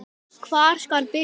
Hvar skal byrja?